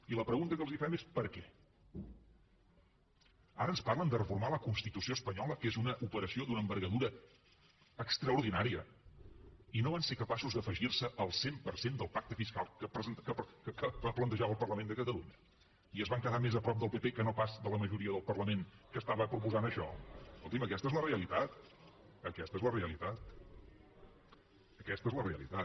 i la pregunta que els fem és per què ara ens parlen de reformar la constitució espanyola que és una operació d’una envergadura extraordinària i no van ser capaços d’afegir se al cent per cent del pacte fiscal que plantejava el parlament de catalunya i es van quedar més a prop del pp que no pas de la majoria del parlament que estava proposant això escolti’m aquesta és la realitat aquesta és la realitat aquesta és la realitat